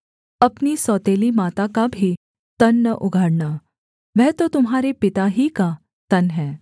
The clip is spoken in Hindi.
अपनी सौतेली माता का भी तन न उघाड़ना वह तो तुम्हारे पिता ही का तन है